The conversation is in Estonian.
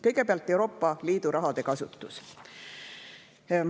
Kõigepealt Euroopa Liidu raha kasutus.